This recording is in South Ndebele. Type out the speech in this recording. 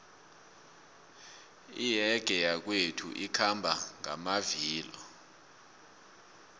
iyege yakwethu ikhamba ngamavilo